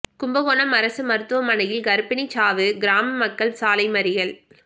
கும்பகோணம் அரசு மருத்துவமனையில் கா்ப்பிணி சாவு கிராம மக்கள் சாலை மறியல்